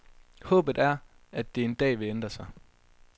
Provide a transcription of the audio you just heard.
Håbet er, at det en dag vil ændre sig.